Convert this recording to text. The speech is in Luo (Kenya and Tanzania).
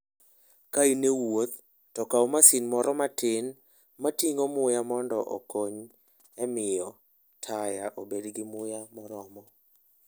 Ka in e wuoth, to kaw masin moro matin ma ting'o muya mondo okony e miyo taya obed gi muya moromo.